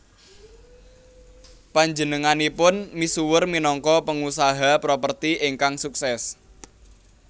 Panjenenganipun misuwur minangka pengusaha properti ingkang sukses